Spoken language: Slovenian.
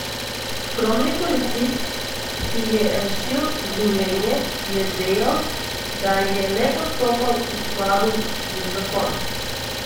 Skromni policist, ki je rešil življenje, je dejal, da je le postopal v skladu z zakonom.